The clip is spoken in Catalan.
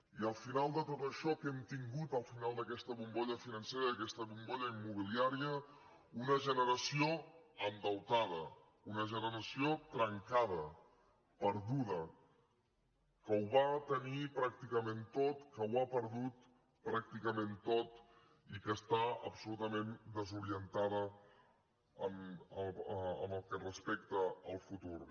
i al final de tot això què hem tingut al final d’aquesta bombolla financera d’aquesta bombolla immobiliària una generació endeutada una generació trenca da perduda que ho va tenir pràcticament tot que ho ha perdut pràcticament tot i que està absolutament desorientada pel que respecta al futur